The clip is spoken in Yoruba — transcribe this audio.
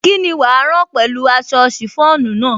Kíni wàá rán pẹ̀lú aṣọ chiffon náà?